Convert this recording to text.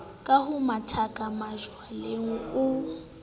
ke ho mathakaka majwaleng o